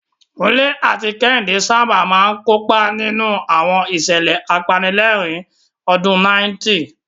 Kunle àti Kehinde sábà máa ń kópa nínú àwọn ìṣẹ̀lẹ̀ apanilẹ́rìn-ín ní ọdún 90.